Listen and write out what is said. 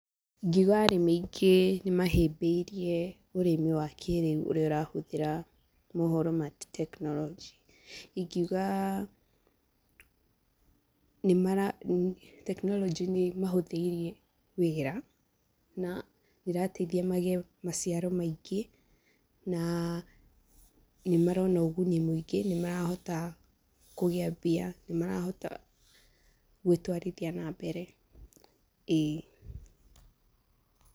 Ingiuga arĩmi aingĩ nĩ mahĩbĩirie ũrĩmi wa kĩrĩu ũrĩa ũrahũtĩra mũhoro ma tekinoronjĩ. Ingiuga nĩ mara, tekinoronjĩ nĩ ĩ mahũthĩirie wĩra, na ĩrateithia magĩe maciaro maingĩ, na nĩ marona ũguni mũingĩ, nĩ marahota kũgĩa mbia, nĩ marahota gwĩtwarithia na mbere, ĩĩ.